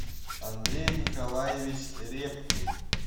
андрей николаевич репкин